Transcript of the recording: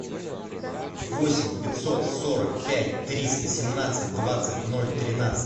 восемь пятьсот сорок пять триста семнадцать двадцать ноль тринадцать